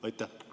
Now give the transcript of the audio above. Aitäh!